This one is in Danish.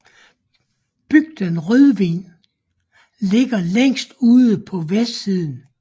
Bygden Rødven ligger længere ude på vestsiden